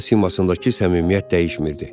Amma simasındakı səmimiyyət dəyişmirdi.